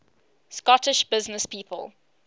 scottish businesspeople